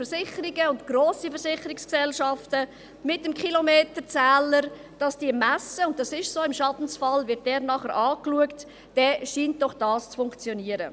Daher: Wenn grosse Versicherungsgesellschaften mit dem Kilometerzähler messen – und das ist so, im Schadensfall wird dieser nachher angeschaut –, dann scheint dies doch zu funktionieren.